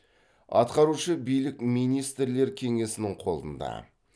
атқарушы билік министрлер кеңесінің қолында